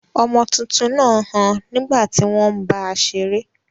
Ọmọ tuntun náà ń han nígbà tí wọ́n ń bá a seré.